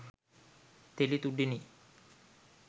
තෙළි තුඩෙනි.